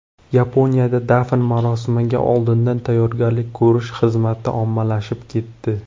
Yaponiyada dafn marosimiga oldindan tayyorgarlik ko‘rish xizmati ommalashib ketdi.